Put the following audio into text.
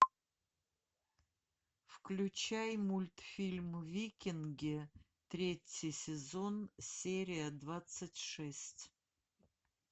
включай мультфильм викинги третий сезон серия двадцать шесть